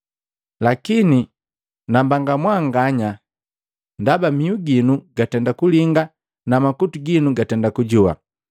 “Lakini nambanga mwanganya! Ndaba mihu ginu gatenda kulinga, na makutu ginu gatenda kujoa!